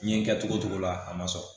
N ye kɛ togo togo la a ma sɔrɔ